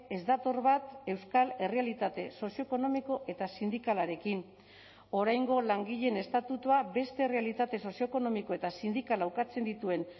ez dator bat euskal errealitate sozioekonomiko eta sindikalarekin oraingo langileen estatutua beste errealitate sozioekonomiko eta sindikala ukatzen dituen